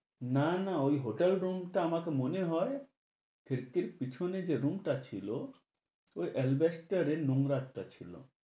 না না ঐ hotel room টা আমাকে মনে হয় fifty এর পিছনে যে room টা ছিলো ঐ নোংরা একটা ছিলো।